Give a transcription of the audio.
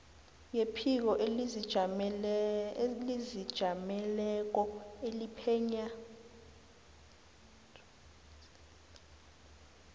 yephiko elizijameleko eliphenya